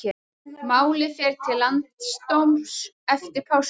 Málið fer til landsdóms eftir páska